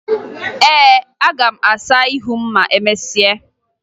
Ee, aga m asa ihu m ma emesịa